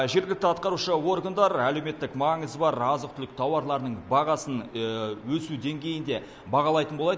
жергілікті атқарушы органдар әлеуметтік маңызы бар азық түлік тауарларының бағасын өсу деңгейін де бағалайтын болады